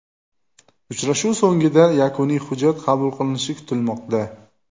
Uchrashuv so‘ngida yakuniy hujjat qabul qilinishi kutilmoqda.